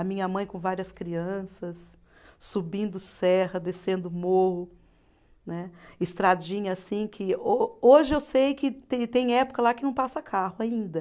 A minha mãe com várias crianças, subindo serra, descendo morro né, estradinha assim que ô, hoje eu sei que tem época lá que não passa carro ainda.